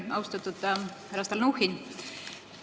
Austatud härra Stalnuhhin!